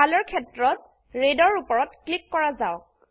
কলৰ ক্ষেত্ৰত ৰেড এৰ উপৰত ক্লিক কৰা যাওক